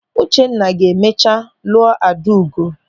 Uchenna ga-emecha lụọ Adaugo.